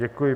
Děkuji.